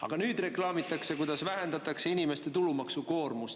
Aga nüüd reklaamitakse, kuidas vähendatakse inimeste tulumaksukoormust.